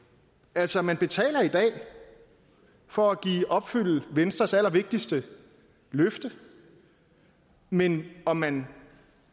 altså man betaler i dag for at opfylde venstres allervigtigste løfte men om man